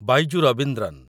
Byju's Raveendran